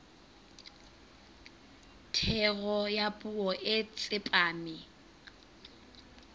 thero ya puo e tsepame